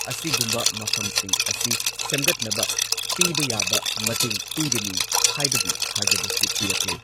ꯑꯁꯤꯒꯨꯝꯕ ꯃꯐꯝꯁꯤꯡ ꯑꯁꯤ ꯁꯦꯝꯒꯠꯅꯕ ꯄꯤꯕ ꯌꯥꯕ ꯃꯇꯦꯡ ꯄꯤꯒꯅꯤ ꯍꯥꯏꯕꯒꯤ ꯊꯥꯖꯕꯁꯨ ꯄꯤꯔꯛꯂꯦ꯫